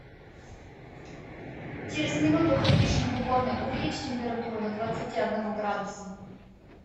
через минуту кондишн в уборной увеличь температуру до двадцати одного градуса